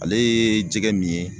Ale ye jɛgɛ min ye